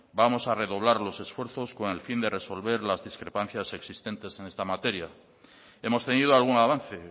vamos a redoblar los esfuerzos con el fin de resolver las discrepancias existentes en esta materia hemos tenido algún avance